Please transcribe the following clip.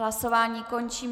Hlasování končím.